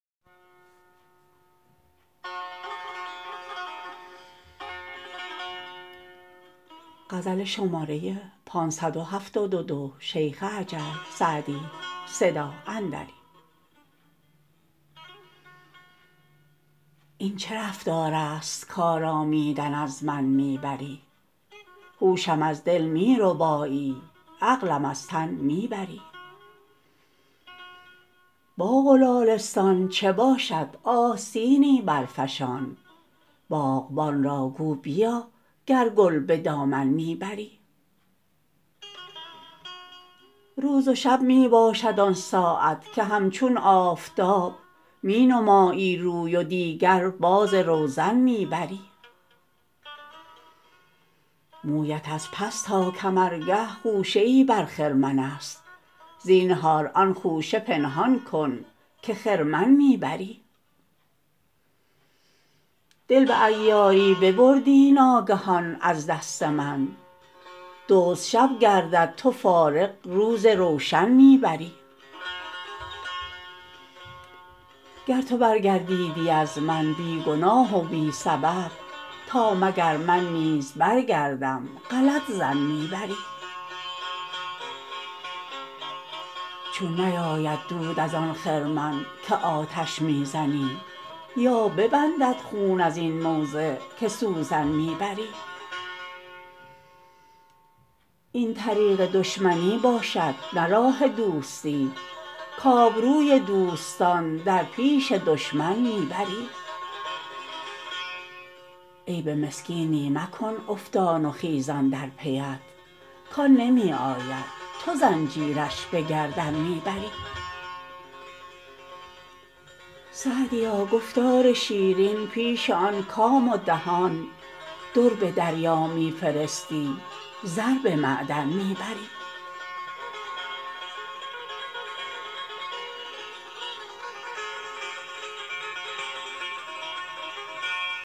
این چه رفتار است کآرامیدن از من می بری هوشم از دل می ربایی عقلم از تن می بری باغ و لالستان چه باشد آستینی برفشان باغبان را گو بیا گر گل به دامن می بری روز و شب می باشد آن ساعت که همچون آفتاب می نمایی روی و دیگر باز روزن می بری مویت از پس تا کمرگه خوشه ای بر خرمن است زینهار آن خوشه پنهان کن که خرمن می بری دل به عیاری ببردی ناگهان از دست من دزد شب گردد تو فارغ روز روشن می بری گر تو برگردیدی از من بی گناه و بی سبب تا مگر من نیز برگردم غلط ظن می بری چون نیاید دود از آن خرمن که آتش می زنی یا ببندد خون از این موضع که سوزن می بری این طریق دشمنی باشد نه راه دوستی کآبروی دوستان در پیش دشمن می بری عیب مسکینی مکن افتان و خیزان در پی ات کآن نمی آید تو زنجیرش به گردن می بری سعدیا گفتار شیرین پیش آن کام و دهان در به دریا می فرستی زر به معدن می بری